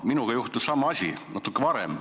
Minuga juhtus sama asi natuke varem.